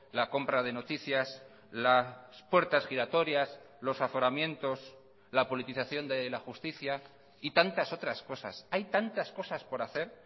la compra de noticias las puertas giratorias los aforamientos la politización de la justicia y tantas otras cosas hay tantas cosas por hacer